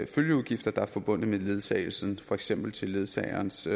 følgeudgifter der er forbundet med ledsagelsen for eksempel til ledsagerens